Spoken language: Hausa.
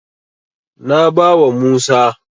Na bawa Musa.